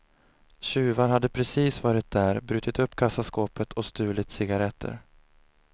Tjuvar hade precis varit där, brutit upp kassaskåpet och stulit cigaretter.